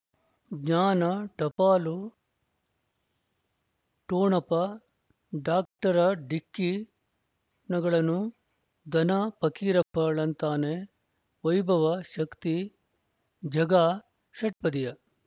ಜ್ಞಾನ ಟಪಾಲು ಠೊಣಪ ಡಾಕ್ಟರ ಢಿಕ್ಕಿ ಣಗಳನು ಧನ ಫಕೀರಪ್ಪ ಳಂತಾನೆ ವೈಭವ ಶಕ್ತಿ ಝಗಾ ಷಟ್ಪದಿಯ